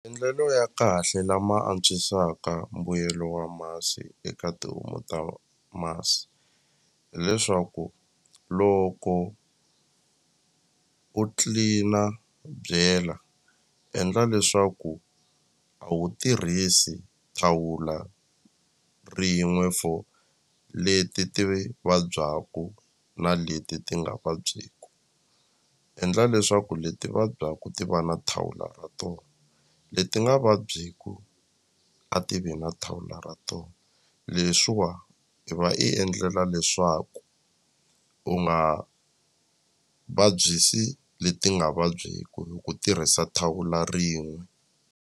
Maendlelo ya kahle lama antswisaka mbuyelo wa masi eka tihomu ta masi hileswaku loko u clean-a byela endla leswaku a wu tirhisi thawula rin'we for leti ti vabyaku na leti ti nga vabyeku endla leswaku leti vabyaku ti va na thawula ra tona leti nga vabyeku a ti vi na thawula ra tona leswiwa i va i endlela leswaku u nga vabyisi leti nga vabyeku hi ku tirhisa thawula rin'we.